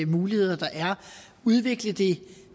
muligheder der er og udviklet det